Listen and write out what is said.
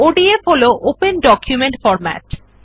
ODF হল open document format